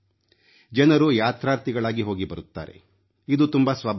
ಜನರು ಯಾತ್ರಾರ್ಥಿಗಳಾಗಿ ಹೋಗಿ ಬರುತ್ತಾರೆ ಇದು ತುಂಬಾ ಸ್ವಾಭಾವಿಕ